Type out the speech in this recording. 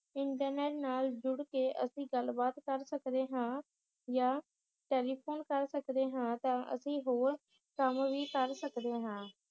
internet ਨਾਲ ਜੁੜ ਕੇ ਅਸੀ ਗੱਲ ਬਾਤ ਕਰ ਸਕਦੇ ਹਾਂ ਯਾ ਟੈਲੀਫੋਨ ਕਰ ਸਕਦੇ ਹਾਂ ਤਾਂ ਅਸੀ ਹੋਰ ਕੰਮ ਵੀ ਕਰ ਸਕਦੇ ਹਾਂ